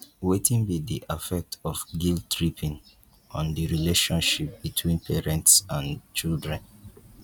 wetin be di affect of guilttripping on di relationship between parents and children